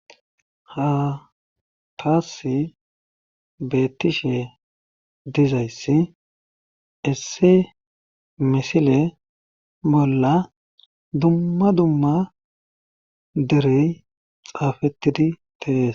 Ha taas beettishe dizayssi isse misile bolla dumma dumma derey xaafettidi teees.